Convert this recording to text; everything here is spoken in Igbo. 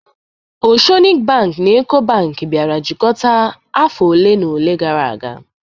Oceanic bank na Eco Bank bịara jikọta afọ ole na ole gara aga